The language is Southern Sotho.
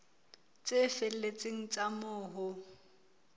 tse felletseng tsa moo ho